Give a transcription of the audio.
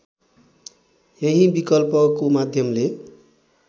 यही विकल्पको माध्यमले